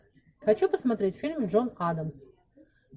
хочу посмотреть фильм джон адамс